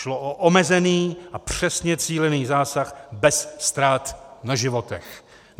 Šlo o omezený a přesně cílený zásah beze ztrát na životech.